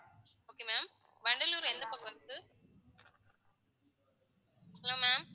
okay ma'am வண்டலூர்ல எந்த பக்கம் இருக்கு hello ma'am